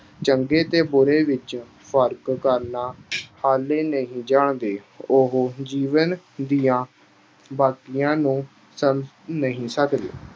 ਚੰਗੇ ਤੇ ਬੁਰੇ ਵਿੱਚ ਫ਼ਰਕ ਕਰਨਾ ਹਾਲੇ ਨਹੀਂ ਜਾਣਦੇ। ਉਹ ਜੀਵਨ ਦੀਆਂ ਬਾਰੀਕੀਆਂ ਨੂੰ ਸਮਝ ਨਹੀਂ ਸਕਦੇ।